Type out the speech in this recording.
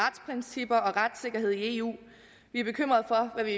retssikkerhed i eu vi er bekymrede for hvad vi